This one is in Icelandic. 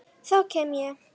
Þá kem ég